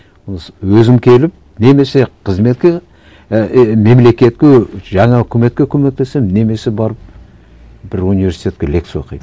өзім келіп немесе қызметке і мемлекетке жаңа үкіметке көмектесемін немесе барып бір университетке лекция оқимын